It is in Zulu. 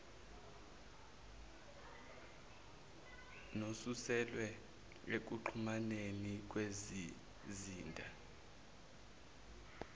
nosuselwe ekuxhumaneni kezizinda